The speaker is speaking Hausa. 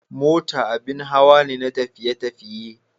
Mota abin hawa ne na tafiye-tafiye.